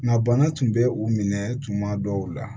Nka bana tun bɛ u minɛ tuma dɔw la